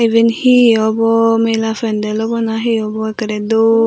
iben hi obw mela fandel obw na hi obw ekkorey dol.